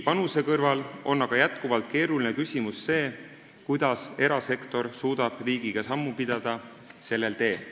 Selle kõrval on aga jätkuvalt keeruline küsimus see, kuidas suudab erasektor riigiga sellel teel sammu pidada.